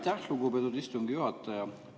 Aitäh, lugupeetud istungi juhataja!